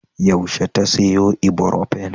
Yaushe ta sayo Ibrofen?